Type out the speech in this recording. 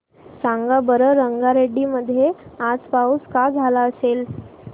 सांगा बरं रंगारेड्डी मध्ये आज पाऊस का झाला असेल